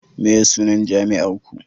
meye sunan jami'ar Ku